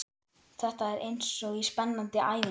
Þetta er eins og í spennandi ævintýri.